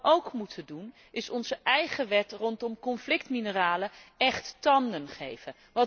Maar wat we ook moeten doen is onze eigen wet rondom conflictmineralen écht tanden geven.